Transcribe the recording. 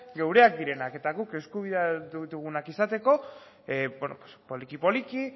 gureak direnak eta guk eskubidea ditugunak izateko poliki poliki